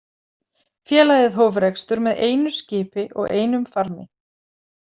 Félagið hóf rekstur með einu skipi og einum farmi.